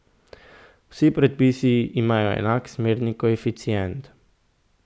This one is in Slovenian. Vsi predpisi imajo enak smerni koeficient.